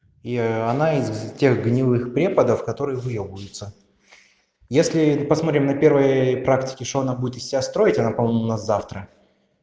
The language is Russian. и она из тех гнилых преподов которые выёбываются если посмотрим на первой практике что она будет из себя строить она по-моему у нас завтра